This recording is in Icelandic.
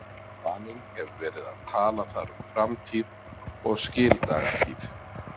Vaninn hefur verið að tala þar um framtíð og skildagatíð.